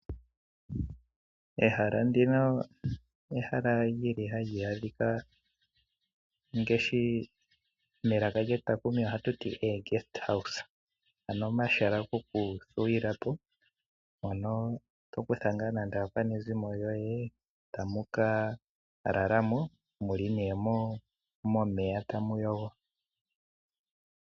Ehala ndino ehala hali adhika pomagumbo gaayenda mpono to kutha nande aakwanezimo lyoye e tamu ka lala mo mu li momeya tamu yogo.